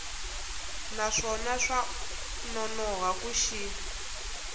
naswona swa nonoha ku xi